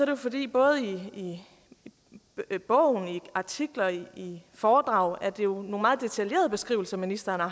det fordi det både i bogen i artikler og i foredrag er nogle meget detaljerede beskrivelser ministeren har